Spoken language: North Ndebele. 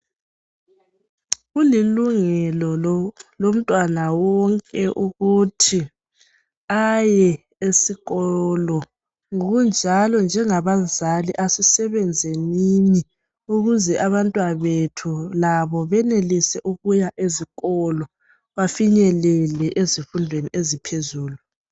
Kulilungelo lomntwana wonke ukuthi aye esikolo ngokunjalo njengabazali asisebenzenini ukuze abantwabethu labo benelise ukuya ezikolo bafinyelele ezifundweni eziphezulu.